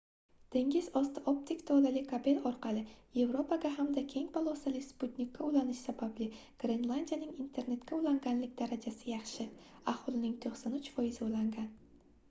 dengiz osti optik tolali kabel orqali yevropaga hamda keng polosali sputnikka ulanish sababli grenlandiyaning internetga ulanganlik darajasi yaxshi – aholining 93%i ulangan